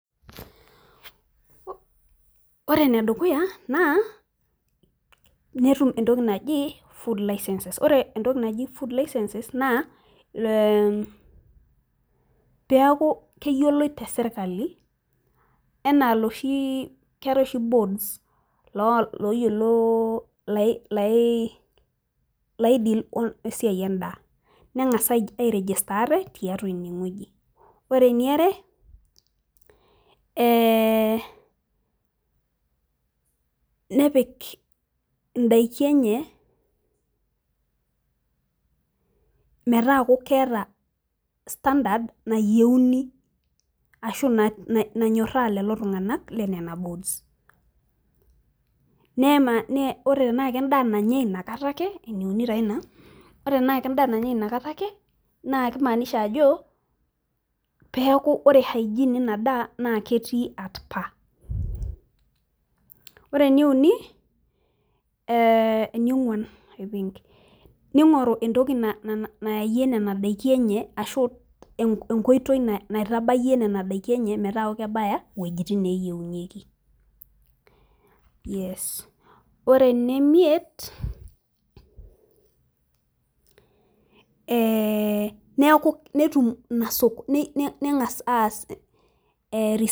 ore enedukuya naa ketum entoki naji food license pee eku keyioloi tesirkali enaa iloshi bods loo iyiolo lai deal wesiai edaa nengas arigita ate tiatua inengweji ore enire nepik idaki enye , metaaku keeta standard nayieu peyie euni ashu nanyoraa lelo tunganak le nena bods , ore tenaa kedaa nanyai inakata ake naa kimanisha ajo pee eku ore ore hygiene ena daa naa ketii atpa , nigoru entoki nayayie nena nakidakin enye meeta keeta entoki nabaya.